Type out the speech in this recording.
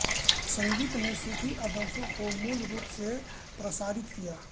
संगीत ने सूफी आदर्शों को मूल रूप से प्रसारित किया